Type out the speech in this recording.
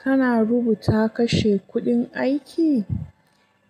Kana rubuta kashe kuɗin aiki?